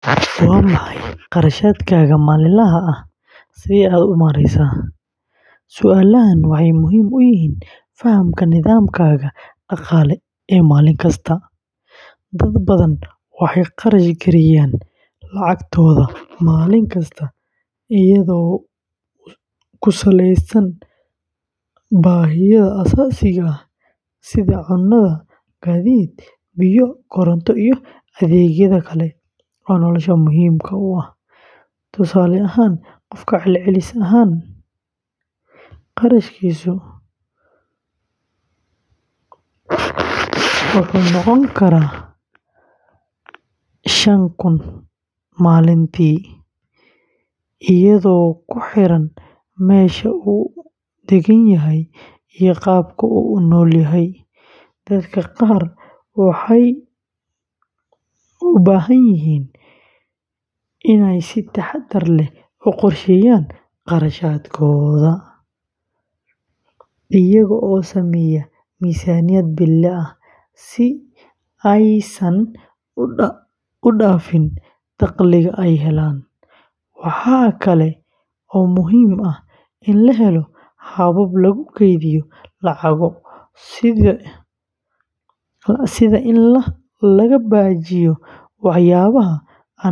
Waa maxay kharashaadkaaga maalinlaha ah? Sidee ayaad u maareysaa? Su’aalahan waxay muhiim u yihiin fahamka nidaamkaaga dhaqaale ee maalin kasta. Dad badan waxay kharash gareeyaan lacagtooda maalin kasta iyadoo ku saleysan baahiyaha aasaasiga ah sida cunno, gaadiid, biyo, koronto, iyo adeegyada kale ee nolosha muhiimka u ah. Tusaale ahaan, qofka celcelis ahaan kharashkiisu wuxuu noqon karaa shaan kun oo shilin maalintii, iyadoo ku xiran meesha uu degan yahay iyo qaabka uu u noolyahay. Dadka qaar waxay u baahan yihiin inay si taxaddar leh u qorsheeyaan kharashaadkooda, iyagoo sameeya miisaaniyad bille ah, si aysan u dhaafin dakhliga ay helaan. Waxaa kale oo muhiim ah in la helo habab lagu keydiyo lacago, sida in laga baajiyo waxyaabaha aan muhiimka ahayn ama la isticmaalo fursado qiimo dhimis ah.